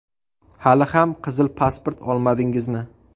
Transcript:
Hali ham qizil pasport olmadingizmi?